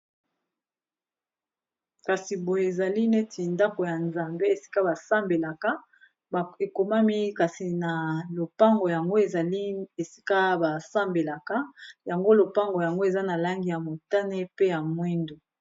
Kasi boyo ezali neti ndako ya nzambe esika basambelaka ekomami kasi na lopango yango ezali esika basambelaka yango lopango yango eza na langi ya motane pe ya mwindu.